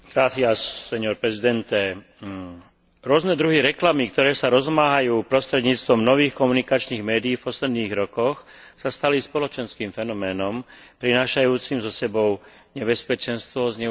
Rôzne druhy reklamy, ktoré sa rozmáhajú prostredníctvom nových komunikačných médií v posledných rokoch, sa stali spoločenským fenoménom prinášajúcim so sebou nebezpečenstvo zneužitia dôvery bežného spotrebiteľa.